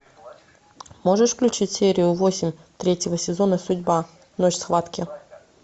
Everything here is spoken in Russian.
можешь включить серию восемь третьего сезона судьба ночь схватки